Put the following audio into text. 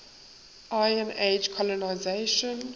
iron age colonisation